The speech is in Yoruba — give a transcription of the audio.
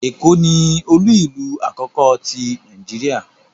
Eko ni olu-ilu akoko ti Nàìjíríà